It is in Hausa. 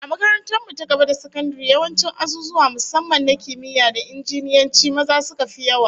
A makarantar mu ta gaba da sakandare, yawancin azuzuwa musamman na kimiyya da injiniyanci, maza suka fi yawa